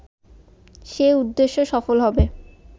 সে উদ্দেশ্য সফল হবে